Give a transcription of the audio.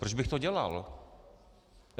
Proč bych to dělal?